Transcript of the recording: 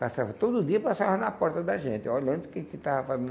Passava todo dia, passava na porta da gente, olhando o que que estava fazendo.